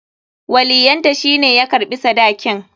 Waliyyanta shi ne ya karɓi sadakin.